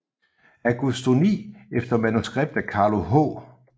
Agostoni efter manuskript af Carlo H